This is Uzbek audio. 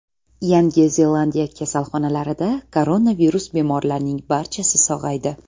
Yangi Zelandiya kasalxonalarida koronavirus bemorlarining barchasi sog‘aydi.